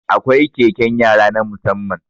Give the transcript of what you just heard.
Akwai keken yara na musamman